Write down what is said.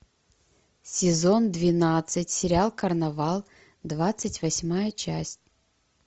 сезон двенадцать сериал карнавал двадцать восьмая часть